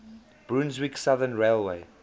brunswick southern railway